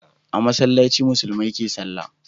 A masallaci musulmai ke salla